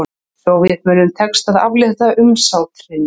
Sovétmönnum tekst að aflétta umsátrinu